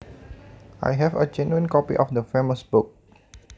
I have a genuine copy of the famous book